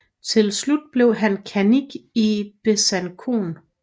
Til slut blev han kannik i Besançon